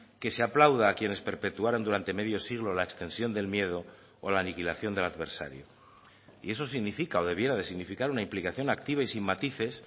que se aplauda a quienes perpetuaron durante medio siglo la extensión del miedo o la aniquilación del adversario y eso significa o debiera de significar una implicación activa y sin matices